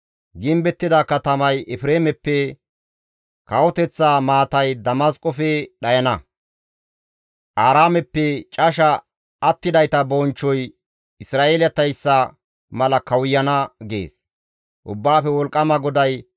Gimbettida katamay Efreemeppe, kawoteththa maatay Damasqofe dhayana; Aaraameppe casha attidayta bonchchoy Isra7eeletayssa mala kawuyana» gees Ubbaafe Wolqqama GODAY.